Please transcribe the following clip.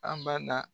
An ba na